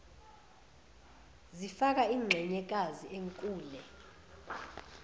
zifaka inxenyekazi enkule